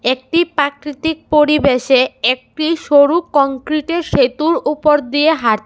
একটি প্রাকৃতিক পরিবেশে একটি সরু কংক্রিটের সেতুর ওপর দিয়ে হাঁট--